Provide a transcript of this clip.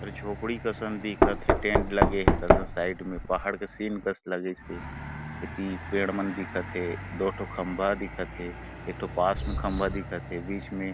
झोपडी कसन दिखत हे टेंट लगे हे कसन साइड में पहाड़ के सीन कस लगिस हे एती पेड़ मन दिखत हे दो ठो खम्बा दिखत हे एक ठो पास में खम्बा दिखत हे बिच में --